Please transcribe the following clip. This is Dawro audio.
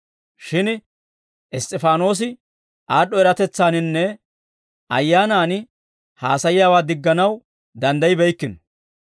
Shin Iss's'ifaanoosi aad'd'o eratetsaaninne Ayyaanaan haasayiyaawaa digganaw danddaybbeykkino.